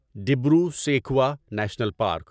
Dibru Saikhowa national park